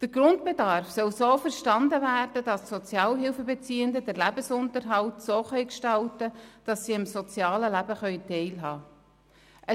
Der Grundbedarf soll so verstanden werden, dass die Sozialhilfebeziehenden den Lebensunterhalt so gestalten können, dass sie am sozialen Leben teilnehmen können.